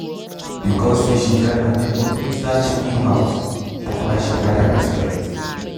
because say she help her neighbor take start chicken house na why she gather respect.